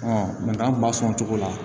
an kun b'a sɔn o cogo la